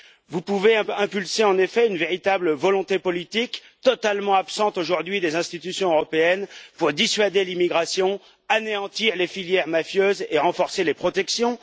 Vous pouvez impulser, en effet, une véritable volonté politique, totalement absente aujourd'hui des institutions européennes, pour dissuader l'immigration, anéantir les filières mafieuses et renforcer les protections.